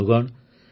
ବନ୍ଧୁଗଣ